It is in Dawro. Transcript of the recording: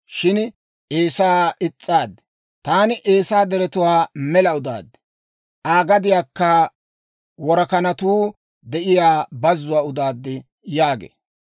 shin Eesaa is's'aaddi. Taani Eesaa deretuwaa mela udaad; Aa gadiyaakka worakanatuu de'iyaa bazzuwaa udaad» yaagee.